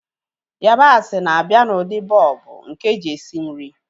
Yabasị bụ na-abịa n'ụdị bọlbụ nke eji esi nri